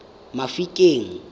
mafikeng